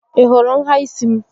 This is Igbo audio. Ị hụrụ nhà ísí m?